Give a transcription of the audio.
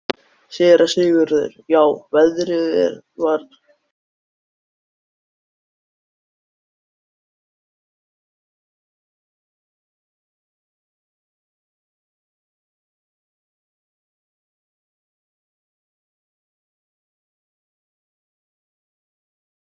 Ég get aldrei leitt hana út á götuna.